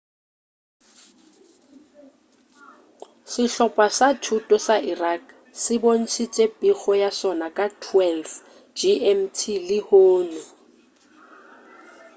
sehlopa sa thuto sa iraq se bontšitše pego ya sona ka 12.00 gmt lehono